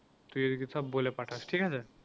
তুই ওদেরকে সব বলে পাঠাস ঠিক আছে।